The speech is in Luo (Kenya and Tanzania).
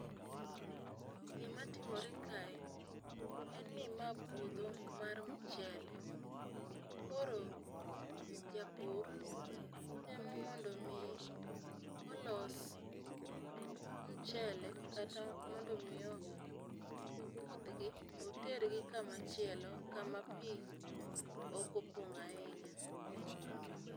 Gimatimore kae en ni ma puodho mar mchele koro japur temo mondo mi olos mchele kata mondo mi opudh gi oter gi kama chielo kama pii okopong' ahinya.